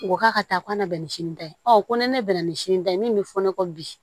U ko k'a ka taa ko na bɛn ni sinita ye ko ni ne bɛ na ni sini ta ye min bɛ fɔ ne kɔ bi